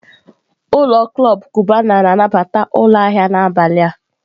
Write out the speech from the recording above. ụlọ klọb Cubana na-anabata ụlọ ahịa n'abalị a.